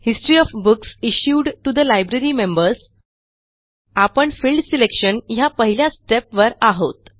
history of books issued to the library members आपण field selection ह्या पहिल्या step वर आहोत